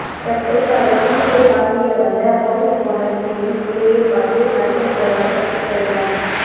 தற்செயலாக வீட்டை பார்வையிட வந்த ஹவுஸ் ஓனர் வீட்டின் நிலையை பார்த்து மயக்கம் போடாத குறைதான்